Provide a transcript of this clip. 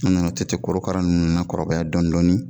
An nana to ten korokara ninnu kɔrɔbaya dɔɔnin dɔɔnin